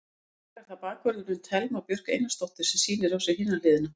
Í dag er það bakvörðurinn, Thelma Björk Einarsdóttir sem sýnir á sér hina hliðina.